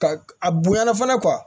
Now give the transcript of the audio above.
Ka a bonya fana